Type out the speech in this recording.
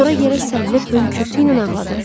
Sonra yerə sərilib hönkürtü ilə ağladım.